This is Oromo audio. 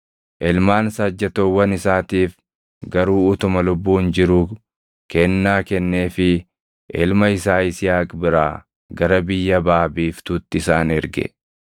Ilmaan saajjatoowwan isaatiif garuu utuma lubbuun jiruu kennaa kenneefii ilma isaa Yisihaaq biraa gara biyya baʼa biiftuutti isaan erge.